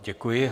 Děkuji.